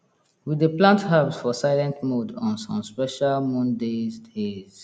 we dey plant herbs for silent mode on some special moon days days